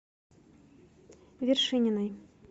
вершининой